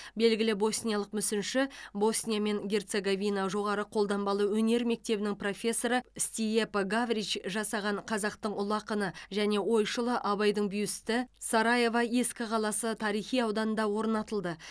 белгілі босниялық мүсінші босния мен герцеговина жоғары қолданбалы өнер мектебінің профессоры стиепо гаврич жасаған қазақтың ұлы ақыны және ойшылы абайдың бюсті сараево ескі қаласы тарихи ауданында орнатылды